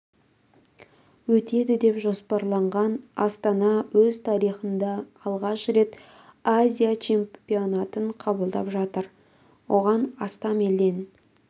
өтеді деп жоспарланған астана өз тарихында алғаш рет азия чемпионатын қабылдап жатыр оған астам елден